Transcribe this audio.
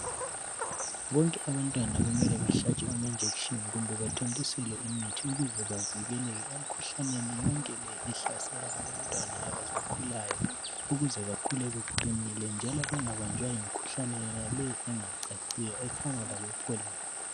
Bonke abantwana kumele bahlatshwe amajekiseni kumbe bathontiselwe imithi ukuze bavikeleke emikhuhlaneni yonke le ehlasela abantwana abasakhulayo ukuze bakhule beqinile njalo bengabanjwa yimikhuhlane yona le engacaciyo efanalabo "Polio".